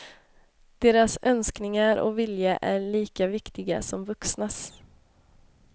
Deras önskningar och vilja är lika viktiga som vuxnas.